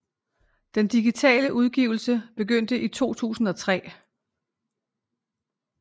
Den digitale udgivelse begyndte i 2003